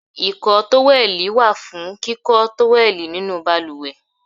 Ìkọ́ tówẹ́lì wà fún kíkọ́ tówẹ́lì nínú balùwẹ̀.